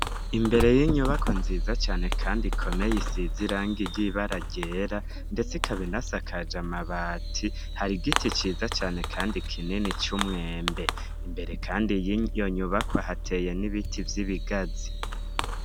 Imbere y'inyubakwa nziza cane kandi ikomeye isize irangi ry'ibara ryera, ndetse ikaba inasakaje amabati, har'igiti ciza cane kandi kinini c'umwembe. Imbere kandi y'iyo nyubakwa, hateye n'ibiti vy'ibigazi.